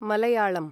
Malayalam